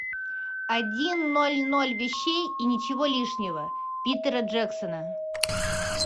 один ноль ноль вещей и ничего лишнего питера джексона